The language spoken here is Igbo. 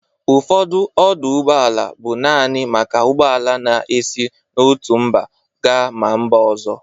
Ụfọdụ ọdụ ụgbọala bụ nanị maka ụgbọala na-esi n'otu mba ga ma mba ọzọ.